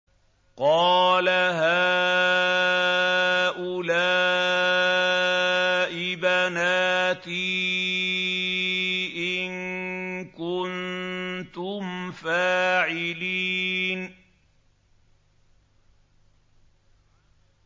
قَالَ هَٰؤُلَاءِ بَنَاتِي إِن كُنتُمْ فَاعِلِينَ